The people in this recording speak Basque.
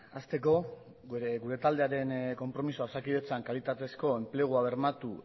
hasteko gure taldearen konpromisoa osakidetzan kalitatezko enplegua bermatu